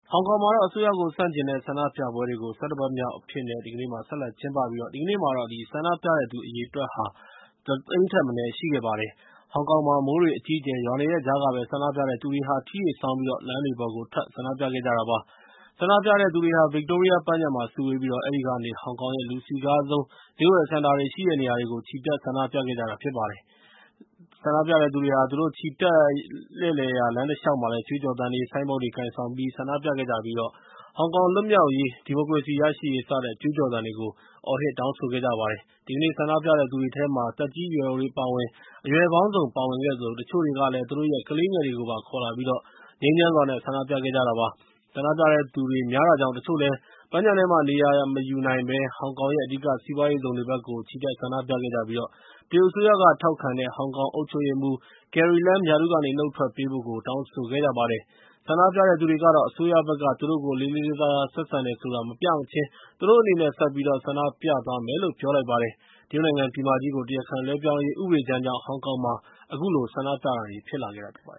ဟောင်ကောင်မှာတော့ အစိုးရကိုဆန့်ကျင်တဲ့ ဆန္ဒပြပွဲတွေကို ၁၁ ပတ်မြောက်အဖြစ်နဲ့ ဆက်လက်ကျင်းပခဲ့ပြီး၊ ဒီကနေ့မှာတော့ ဆန္ဒပြတဲ့သူအရေအတွက် ဟာ ၁ သိန်းထက်မနည်းရှိခဲ့ပါတယ်။ ဟောင်ကောင်မှာ မိုးတွေအကြီးအကျယ်ရွာနေတဲ့ကြားကပဲ ဆန္ဒပြတဲ့သူတွေဟာ ထီးတွေဆောင်ပြီး လမ်းတွေပေါ်ကိုထွက်ပြီး ဆန္ဒပြခဲ့ကြတာဖြစ်ပါတယ်။ ဆန္ဒပြတဲ့သူတွေဟာ ဗစ်တိုးရီးယားပန်းခြံမှာ စုဝေးပြီးတော့ အဲဒီကနေ ဟောင်ကောင်ရဲ့ လူစည်ကားဆုံး ဈေးဝယ်စင်တာတွေရှိတဲ့နေရာတွေကို ချီတက်ဆန္ဒပြခဲ့ကြတာပါ။ ဆန္ဒပြတဲ့သူတွေဟာ သူတို့လှည့်လည်ချီတက်ရာလမ်းတလျှောက် ကြွေးကြော်သံတွေ၊ ဆိုင်းဘုတ်တွေ ကိုင်ဆောင် ဆန္ဒပြခဲ့ကြပြီး၊ ဟောင်ကောင်လွတ်မြောက်ရေး ဒီမိုကရေစီရရှိရေးစတဲ့ ကြွေးကြော်သံတွေကို အော်ဟစ်တောင်းဆိုခဲ့ကြပါတယ်။ ဒီကနေ့ဆန္ဒပြတဲ့သူတွေထဲမှာ သက်ကြီးရွယ်အိုတွေအပါအဝင် အရွယ်ပေါင်းစုံပါဝင်ခဲ့သလို၊ တချို့တွေကလည်း သူတို့ရဲ့ ကလေးငယ်လေးတွေကိုပါခေါ်လာပြီး ငြိမ်းချမ်းစွာ ဆန္ဒပြခဲ့ကြတာဖြစ်ပါတယ်။ ဆန္ဒပြတဲ့သူတွေများတာကြောင့်၊ တချို့တွေလည်း ပန်းခြံထဲမှာနေရာမယူနိုင်တာကြောင့်၊ ဟောင်ကောင်ရဲ့ အဓိကစီးပွားရေးဇုန်တွေဘက်ကို ချီတက်ဆန္ဒပြခဲ့ကြပြီး၊ တရုတ်အစိုးရက ထောက်ခံတဲ့ ဟောင်ကောင်အုပ်ချုပ်ရေးမှူး Carrie Lam ရာထူးကနေ နှုတ်ထွက်ပေးဖို့ကို တောင်းဆိုခဲ့ကြပါတယ်။ ဆန္ဒပြတဲ့သူတွေကတော့ အစိုးရဘက်က သူတို့ကိုလေးလေးစားစားဆက်ဆံတယ်ဆိုတာ မပြမချင်း သူတို့အနေနဲ့ ဆက်ပြီးတော့ ဆန္ဒပြသွားမယ်လု့ ပြောလိုက်ပါတယ်။ တရုတ်နိုင်ငံပြည်မကြီးကို တရားခံလွှဲပြောင်းရေးဥပဒေကြမ်းကြောင့် ဟောင်ကောင်မှာ အခုလို ဆန္ဒပြတာတွေဖြစ်လာခဲ့တာဖြစ်ပါတ